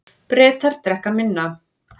Bretar drekka minna